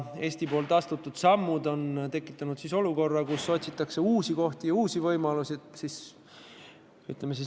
Eestis astutud sammud on tekitanud olukorra, kus otsitakse uusi kohti ja uusi võimalusi.